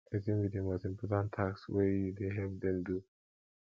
wetin be di most important task wey you dey help dem do